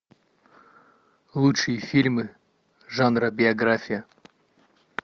лучшие фильмы жанра биография